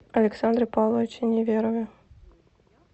александре павловиче неверове